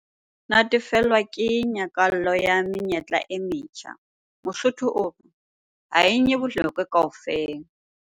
Natefelwa ke nyakallo ya menyetla e metjha. Mosotho o re 'ha e nye bolokwe kaofela!'